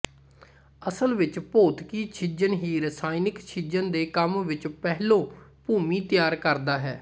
ਅਸਲ ਵਿੱਚ ਭੌਤਿਕੀ ਛਿੱਜਣ ਹੀ ਰਸਾਇਣਕ ਛਿੱਜਣ ਦੇ ਕੰਮ ਵਿੱਚ ਪਹਿਲੋਂ ਭੂਮੀ ਤਿਆਰ ਕਰਦਾ ਹੈ